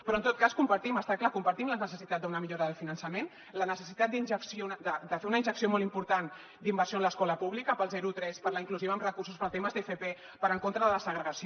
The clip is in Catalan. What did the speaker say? però en tot cas compartim està clar la necessitat d’una millora del finançament la necessitat de fer una injecció molt important d’inversió en l’escola pública per al zero tres per a la inclusiva amb recursos per a temes d’fp per anar en contra de la segregació